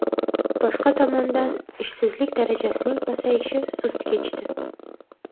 Boshqa tomondan, ishsizlik darajasining pasayishi sust kechdi.